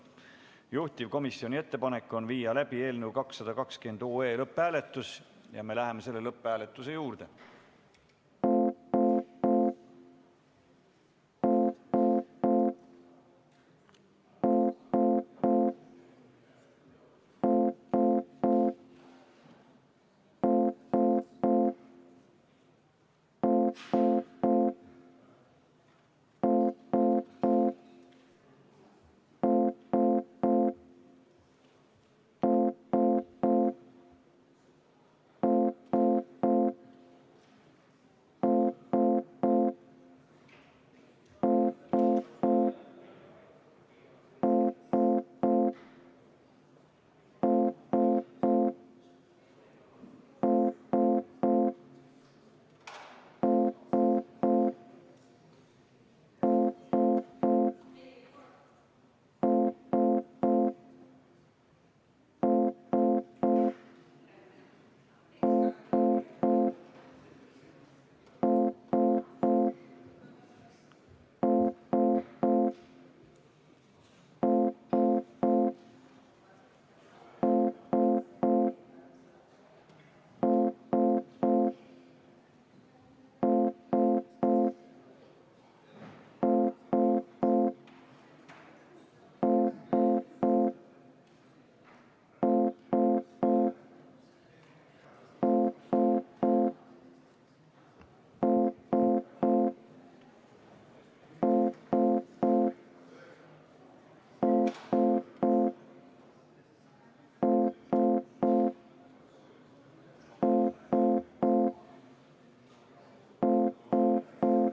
Juhtivkomisjoni ettepanek on viia läbi eelnõu 220 lõpphääletus ja me läheme lõpphääletuse juurde.